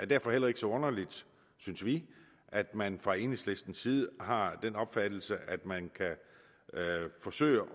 derfor heller ikke så underligt synes vi at man fra enhedslistens side har den opfattelse at man kan forsøge